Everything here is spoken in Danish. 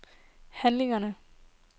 handlinger